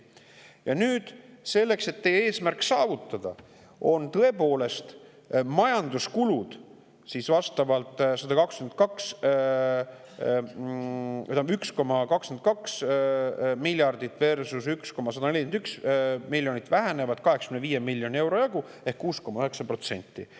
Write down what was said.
Ja nüüd, selleks, et teie eesmärk saavutada, tõepoolest majanduskulud, vastavalt 1,22 miljardit versus 1,141, vähenevad 85 miljoni euro jagu ehk 6,9%.